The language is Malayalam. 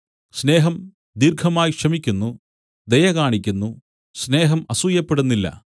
സ്നേഹം ദീർഘമായി ക്ഷമിക്കുന്നു ദയ കാണിക്കുന്നു സ്നേഹം അസൂയപ്പെടുന്നില്ല